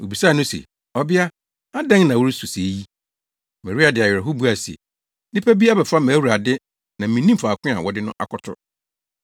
Wobisaa no se, “Ɔbea, adɛn na woresu sɛɛ yi?” Maria de awerɛhow buae se, “Nnipa bi abɛfa mʼAwurade na minnim faako a wɔde no akɔto.”